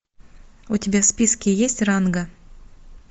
у тебя в списке есть ранга